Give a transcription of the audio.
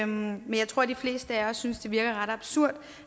men jeg tror de fleste af os synes det virker ret absurd